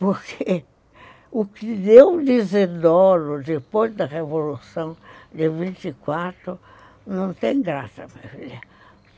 Porque o que deu de Isidoro depois da Revolução, de vinte e quatro, não tem graça, minha filha.